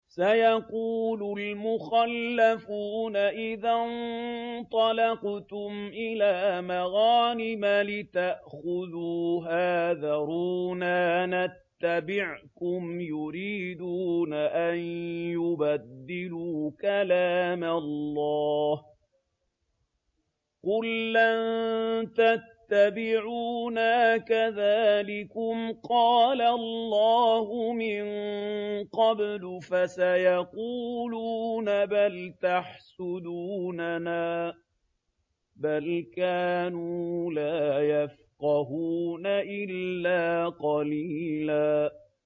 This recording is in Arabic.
سَيَقُولُ الْمُخَلَّفُونَ إِذَا انطَلَقْتُمْ إِلَىٰ مَغَانِمَ لِتَأْخُذُوهَا ذَرُونَا نَتَّبِعْكُمْ ۖ يُرِيدُونَ أَن يُبَدِّلُوا كَلَامَ اللَّهِ ۚ قُل لَّن تَتَّبِعُونَا كَذَٰلِكُمْ قَالَ اللَّهُ مِن قَبْلُ ۖ فَسَيَقُولُونَ بَلْ تَحْسُدُونَنَا ۚ بَلْ كَانُوا لَا يَفْقَهُونَ إِلَّا قَلِيلًا